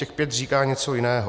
Těch pět říká něco jiného.